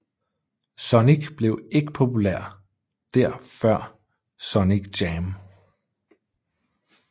Sonic blev ikke populær der før Sonic Jam